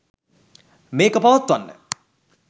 මේක පවත්වන්න.